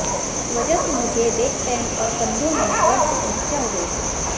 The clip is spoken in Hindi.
इस वजह से मुझे बैकपैन और कंधों में दर्द की समस्या हो गई थी